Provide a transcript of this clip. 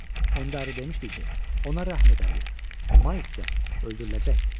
Onda əri demişdi ki, ona rəhm edərlər, Mayls isə öldürüləcəkdi.